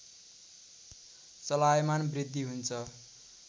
चलायमान वृद्धि हुन्छ